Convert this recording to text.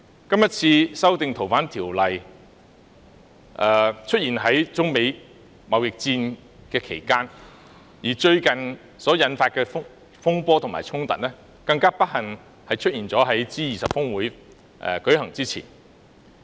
今次修訂《條例》的事件發生在中美貿易戰期間，而最近所引發的風波及衝突，更不幸地出現在 G20 峰會舉行前。